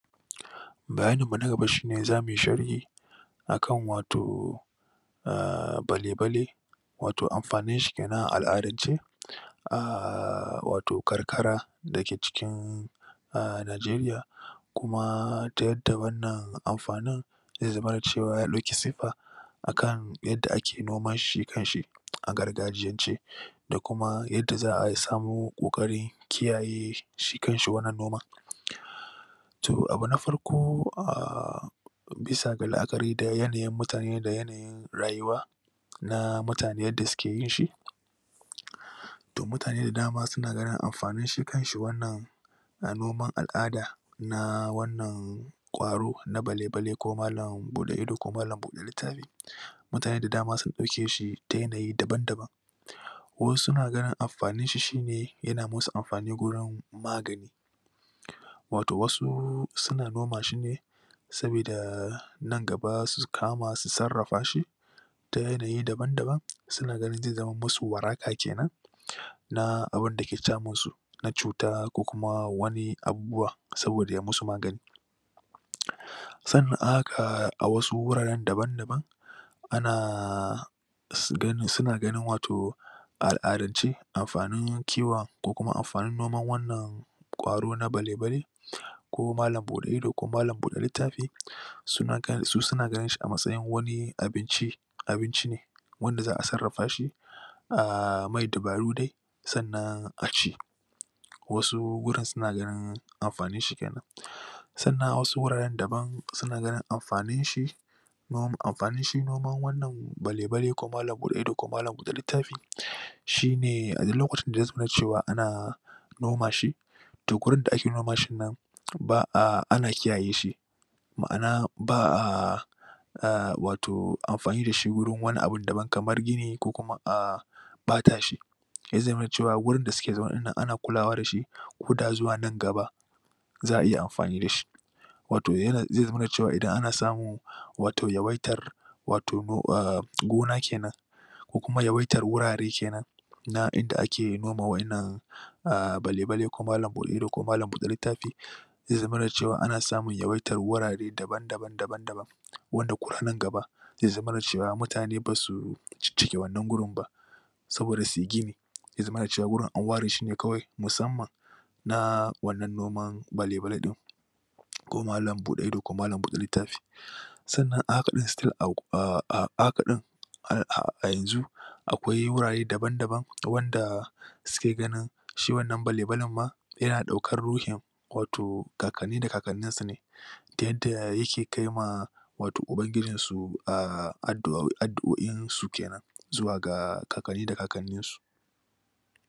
bayanin mu na gaba shine zamu sharhi akan wato a bale bale wato amfanin shi kenan a al'adance a wato karkara dake cikin a nigeria kuma da yadda da wannan amfanin zai zamana cewa ya dauki siffa akan shi yadda ake noman shi kan shi a gargajiyance da kuma yadda za'a samo kokarin kiyaye shi kan shi wannan noman to abu na farko a bisa ga la'akari da yanayin mutane da yanayin rayuwa na mutane yadda suke yin shi toh mutane da dama suna ganin amfanin shi kan shi wannan a noma al'ada na wannan kwaro na bale bale ko malam buɗe ido ko malam buɗe littafi mutane da dama sun dauke shi ta yanayin daban daban wasu na ganin amfanin shi shine yana musu amfani gurin magani wato wasu suna noma shine sabida nan gaba su kama su sarrafa shi ta yanayi daban daban suna ganin zai zama musu waraka kenan na abunda ke danmun su na cuta ko kuma wani abubuwa saboda ya musu magani sannan aka haɗa wasu guraren daban daban a su ganni suna ganin wato a al'adance amfanin kiwon ko kuma amfanin noman wannan kwaro na bale bale ko malam buɗe ido ko malam buɗe su suna ganin shi a mastayin shi wani abinci ne wanda zaa sarrafa shi a mai dabaru dai sannan a ci wasu gurin suna ganin amfanin shi kenan sannan wasu guraren daban suna ganin amfanin shi amfanin shi noman wannan bale bale ko malam buɗe ido ko malam buɗe littafi shine a duk lokacin da ya zamana cewa ana noma shi to gurin da ake noma shin nan ana kiyaye shi ma'ana ba'a a wato amfani da shi warin wani abun daban kamar gini ko kuma a bata shi yazama na cewa gurin da suke zaune din nan ana kula wa da shi koda zuwa nan gaba za'a iya amfani da shi wato zai zamana cewa idan ana samun wato ya waitar wato gona kenan ko kuma ya waitar gurare kenan na inda ake noma wa 'yanan bale bale ko malam bude ido ko malam bude littafi zai zamana cewa ana samun yawaitar gurare daban daban daban daban wanda ko da nan gaba zai zamana cewa mutane basu cin cinye wannan abubu wan saboda yazamana cewa wurin a ware shine kawai musamman na wannan noman bale bale din ko malam bude ido ko malam bude littafi sannan a haka din still a yanzu akwai warare daban daban wanda suke gani shi wannan bale bale ma yana daukan ruhin kakan ni da kakan nin sa ne ta yadda yake kaima wato ubagijin su a addu'oin su kenan zuwa ga kakanni da kakanin su